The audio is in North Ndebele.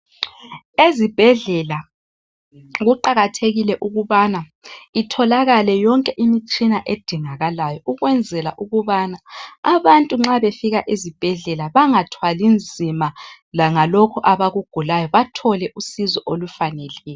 Ezibhedlela kuqakathekile ukubana itholakale yonke imitshina edingakalayo ukwenzela ukubana abantu nxa befika ezibhedlela bangathwali nzima langalokho abakugulayo bathole usizo olufaneleyo.